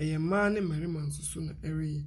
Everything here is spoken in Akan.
Ɛyɛ mmaa ne mmɛrima nso so na ɛreyɛ.